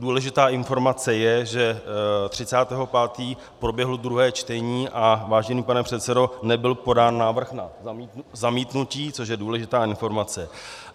Důležitá informace je, že 30. 5. proběhlo druhé čtení, a vážený pane předsedo, nebyl podán návrh na zamítnutí, což je důležitá informace.